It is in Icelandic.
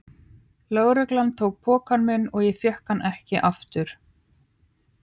Lögreglan tók pokann minn og ég fékk hann ekki aftur.